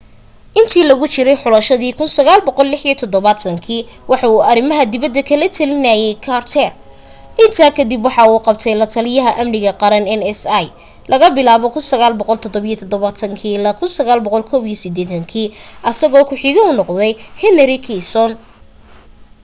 intii lagu jiray xulashadii 1976 waxa uu arimaha dibada kala talinaaye carter intaa kadib waxaa u qabtay lataliya amniga qaran nsa laga bilaabo 1977 ilaa 1981 asagoo ku xige henry kissinger